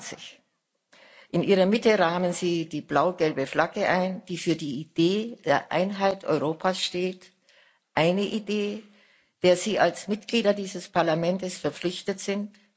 28. In ihrer Mitte rahmen sie die blau gelbe Flagge ein, die für die Idee der Einheit Europas steht eine Idee, der Sie als Mitglieder dieses Parlaments verpflichtet sind.